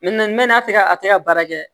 mɛ n'a tɛ ka a tɛ ka baara kɛ